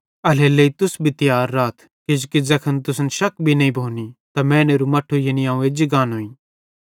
एल्हेरेलेइ तुस भी तियार राथ किजोकि ज़ैखन तुसन शक भी नईं भोनी त मैनेरू मट्ठू यानी अवं एज्जी गानोईं